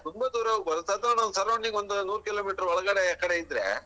ತುಂಬಾ ದೂರ ಹೋಗ್ಬಾರ್ದು ಸದರ್ನ ಒಂದ್ surrounding ಒಂದ್ ನೂರು Kilometer ಒಳಗಡೆ ಆಕಡೆ ಇದ್ರೆ.